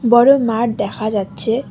বড়ো মাঠ দেখা যাচ্ছে।